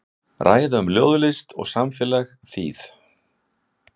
Ræða um ljóðlist og samfélag, þýð.